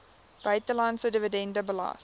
buitelandse dividend belas